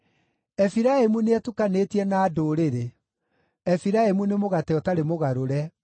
“Efiraimu nĩetukanĩtie na ndũrĩrĩ; Efiraimu nĩ mũgate ũtarĩ mũgarũre.